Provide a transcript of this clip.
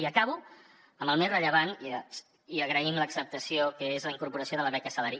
i acabo amb el més rellevant i agraïm l’acceptació que és la incorporació de la beca salari